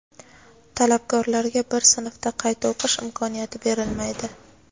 talabgorlarga bir sinfda qayta o‘qish imkoniyati berilmaydi.